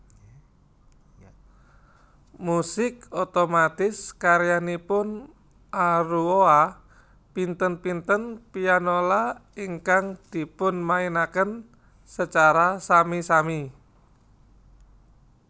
Musik otomatis karyanipun aruoa pinten pinten pianola ingkang dipunmainaken secara sami sami